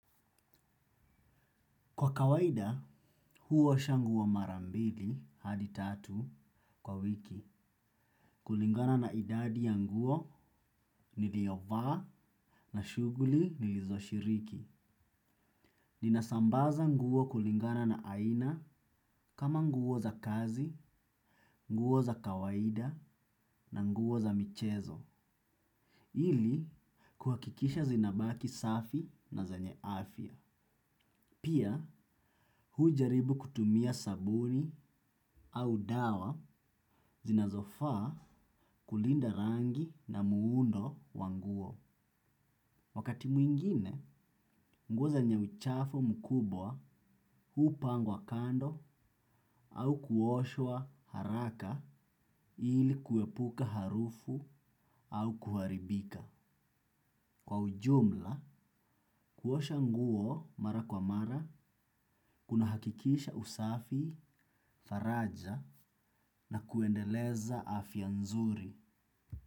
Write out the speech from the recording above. Kwa kawaida, huosha nguo mara mbili hadi tatu kwa wiki. Kulingana na idadi ya nguo niliovaa na shughuli nilizoshiriki. Ninasambaza nguo kulingana na aina kama nguo za kazi, nguo za kawaida na nguo za michezo. Ili, kuhakikisha zinabaki safi na zenye afya. Pia hujaribu kutumia sabuni au dawa zinazofaa kulinda rangi na muundo wa nguo. Wakati mwingine, nguo zenye uchafu mkubwa hupangwa kando au kuoshwa haraka ili kuepuka harufu au kuharibika. Kwa ujumla, kuosha nguo mara kwa mara, kunahakikisha usafi, faraja na kuendeleza afya nzuri.